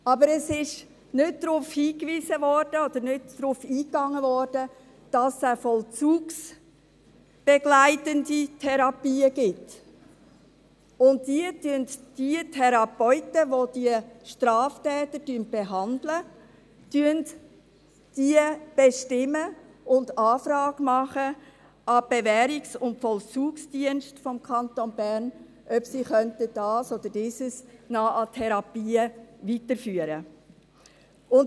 Es wurde aber nicht darauf hingewiesen, oder nicht darauf eingegangen, dass es auch vollzugsbegleitende Therapien gibt und die Therapeuten, die diese Straftäter behandeln, diese bestimmen und einen Antrag an die Bewährungs- und Vollzugsdienste des Kantons Bern (BVD) stellen, ob sie diese oder jene Therapie noch weiterführen können.